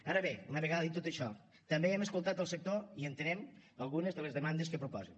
ara bé una vegada dit tot això també hem escoltat el sector i entenem algunes de les demandes que proposen